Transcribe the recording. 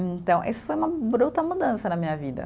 Então, isso foi uma bruta mudança na minha vida.